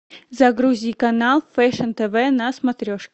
загрузи канал фэшн тв на смотрешке